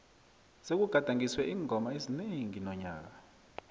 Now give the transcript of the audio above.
sekugadangiswe iingoma ezinengi nonyaka